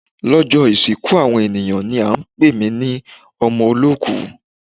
Lọ́jọ́ ìsìnkú àwọn ènìyàn ń pè mí ní ọmọ olóòkú.